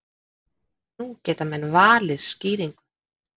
Nú geta menn valið skýringu.